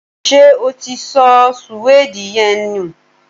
Ṣé o ti sọ suwede yen nù?